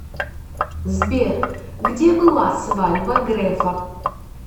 сбер где была свадьба грефа